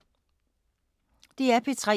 DR P3